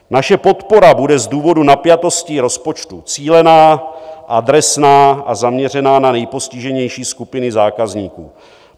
Naše podpora bude z důvodu napjatosti rozpočtu cílená, adresná a zaměřena na nejpostiženější skupiny zákazníků.